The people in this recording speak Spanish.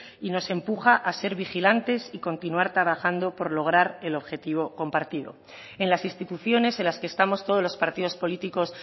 y nos empuja a ser vigilantes y continuar trabajando por lograr el objetivo compartido en las instituciones en las que estamos todos los partidos políticos